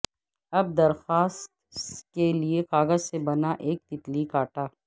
اب درخواست کے لئے کاغذ سے بنا ایک تیتلی کاٹا